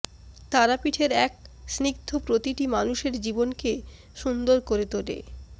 তারাপীঠের এক স্নিগ্ধ প্রতিটি মানুষের জীবনকে সুন্দর করে তোলে